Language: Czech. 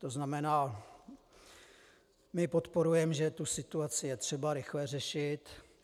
To znamená, my podporujeme, že tu situaci je třeba rychle řešit.